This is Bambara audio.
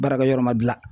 Baarakɛ yɔrɔ ma dilan